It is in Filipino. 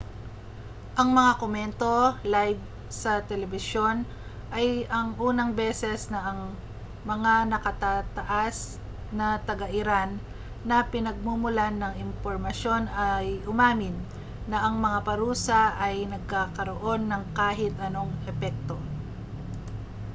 ang mga komento live sa telebisyon ay ang unang beses na ang mga nakatataas na taga-iran na pinagmumulan ng impormasyon ay umamin na ang mga parusa ay nagkakaroon ng kahit anong epekto